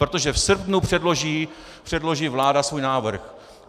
Protože v srpnu předloží vláda svůj návrh.